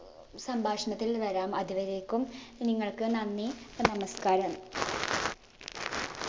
സംഭാഷണത്തിൽ വരാം അത് വരേക്കും നിങ്ങൾക്ക് നന്ദി നമസ്കാരം